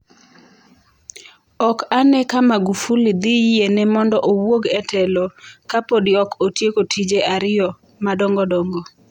Ok ane ka magufuli dhi yiene mondo owuog e telo ka podi ok otieko tije ariyo madongogo.